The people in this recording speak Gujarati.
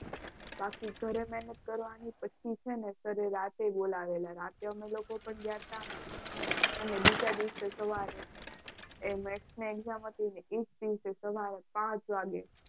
પાછી ઘરે મહેનત કરવાની પછી છે ને જ્યારે રાત્રે બોલાવેલા. રાત્રે અમે લોકો પણ ગયા હતા. અને બીજા દિવસે સવારે maths ની exam હતી ને એ જ દિવસે સવારે પાંચ વાગે.